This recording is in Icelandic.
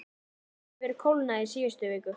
Samt hefur kólnað í síðustu viku.